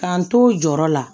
K'an to u jɔyɔrɔ la